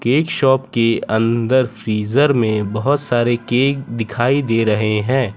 Cake shop के अंदर freezer में बहोत सारे केक दिखाई दे रहे हैं।